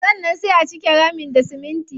Sannan sai a cike ramin da siminti.